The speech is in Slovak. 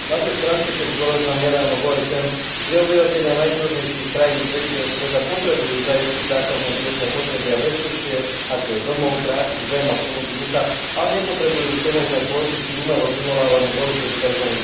Pápež František zdôraznil nedávno v OSN, že obyvatelia najchudobnejších krajín tretieho sveta potrebujú zaistiť základné životné potreby a bezpečie, ako je domov, práca, zem a sloboda ducha, ale nepotrebujú všemožné kvóty či umelo vyvolávaný boj proti tzv.